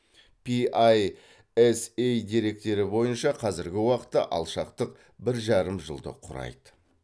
пи ай эс ей деректері бойынша қазіргі уақытта алшақтық бір жарым жылды құрайды